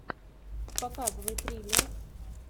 показывай триллер